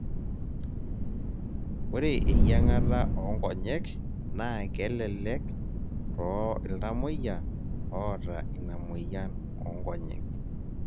ORre eying'ata oo nkonyek naa kelelek too ltamoyia oota ina moyian oo nkonyek